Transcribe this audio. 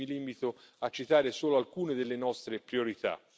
Qui mi limito a citare solo alcune delle nostre priorità.